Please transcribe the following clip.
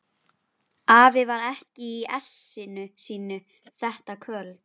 Hann var hafður með til skemmtunar.